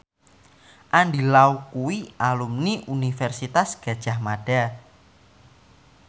Andy Lau kuwi alumni Universitas Gadjah Mada